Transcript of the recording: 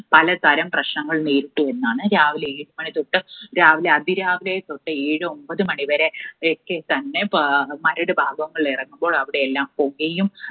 പല തരം പ്രശ്നങ്ങൾ നേരിട്ടു എന്നാണ്. രാവിലെ ഏഴു മണി തൊട്ട് രാവിലെ അതിരാവിലെ തൊട്ട് ഏഴ് ഒൻപത് മണി വരെ ഒക്കെത്തന്നെ ഏർ മരട് ഭാഗങ്ങളിൽ ഇറങ്ങുമ്പോൾ അവിടെയെല്ലാം പുകയും